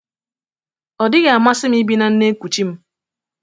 Ọ dịghị amasị m ibi na nne nkuchi m